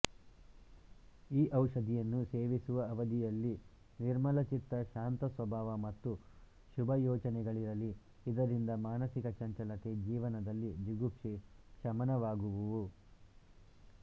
ಈ ಔಷಧಿಯನ್ನು ಸೇವಿಸುವ ಅವಧಿಯಲ್ಲಿ ನಿರ್ಮಲಚಿತ್ತ ಶಾಂತಸ್ವಭಾವ ಮತ್ತು ಶುಭಯೋಚನೆಗಳಿರಲಿ ಇದರಿಂದ ಮಾನಸಿಕ ಚಂಚಲತೆ ಜೀವನದಲ್ಲಿ ಜಿಗುಪ್ಸೆ ಶಮನವಾಗುವುವು